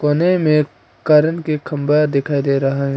पने में कारण के खंभा दिखाई दे रहा है।